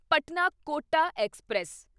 Patna Kota express